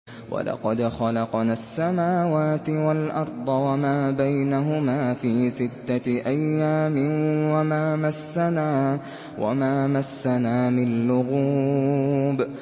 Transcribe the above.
وَلَقَدْ خَلَقْنَا السَّمَاوَاتِ وَالْأَرْضَ وَمَا بَيْنَهُمَا فِي سِتَّةِ أَيَّامٍ وَمَا مَسَّنَا مِن لُّغُوبٍ